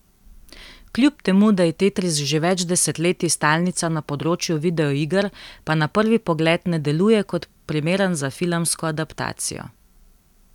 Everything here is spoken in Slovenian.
Kljub temu da je Tetris že več desetletji stalnica na področju videoiger, pa na prvi pogled ne deluje kot primeren za filmsko adaptacijo.